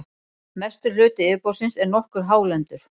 mestur hluti yfirborðsins er nokkuð hálendur